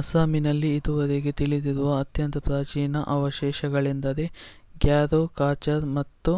ಅಸ್ಸಾಮಿನಲ್ಲಿ ಇದುವರೆಗೆ ತಿಳಿದಿರುವ ಅತ್ಯಂತ ಪ್ರಾಚೀನ ಅವಶೇಷಗಳೆಂದರೆ ಗ್ಯಾರೋ ಕಾಚಾರ್ ಮತ್ತು